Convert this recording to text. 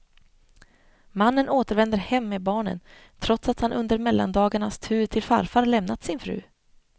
Mannen återvänder hem med barnen, trots att han under mellandagarnas tur till farfar lämnat sin fru.